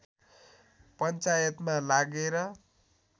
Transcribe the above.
पञ्चायतमा लागेर